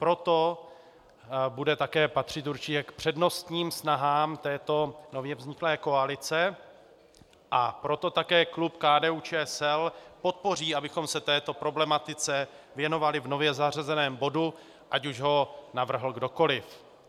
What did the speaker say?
Proto bude také patřit určitě k přednostním snahám této nově vzniklé koalice, a proto také klub KDU-ČSL podpoří, abychom se této problematice věnovali v nově zařazeném bodu, ať už ho navrhl kdokoliv.